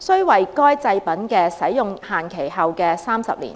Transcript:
須為該製品的使用期限後的30年。